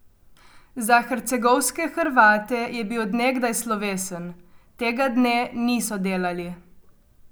Za hercegovske Hrvate je bil od nekdaj slovesen, tega dne niso delali.